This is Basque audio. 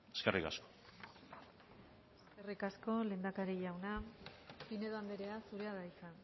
eskerrik asko eskerrik asko lehendakari jauna pinedo andrea zurea da hitza